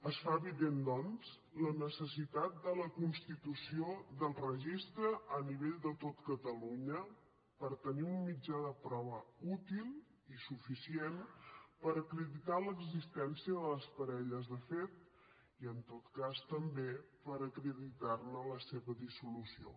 es fa evident doncs la necessitat de la constitució del registre a nivell de tot catalunya per tenir un mitjà de prova útil i suficient per acreditar l’existència de les parelles de fet i en tot cas també per acreditar ne la dissolució